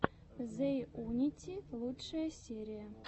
зэйунити лучшая серия